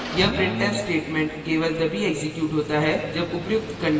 यह printf statement केवल तभी एक्जीक्यूट होता है जब उपर्युक्त condition true हो